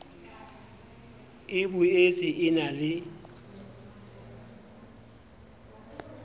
e boetse e na le